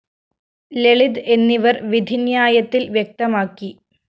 ലളിത് എന്നിവര്‍ വിധിന്യായത്തില്‍ വ്യക്തമാക്കി